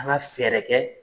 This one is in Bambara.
An ka fɛɛrɛ kɛ